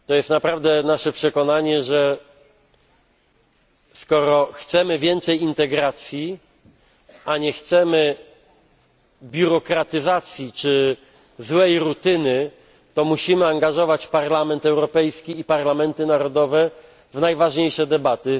Naprawdę naszym przekonaniem jest, że skoro chcemy więcej integracji, a nie chcemy biurokratyzacji czy złej rutyny, to musimy angażować Parlament Europejski i parlamenty narodowe w najważniejsze debaty.